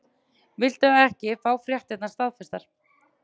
Viltu ekki fá fréttirnar staðfestar?